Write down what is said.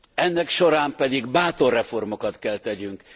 Ennek során pedig bátor reformokat kell tegyünk.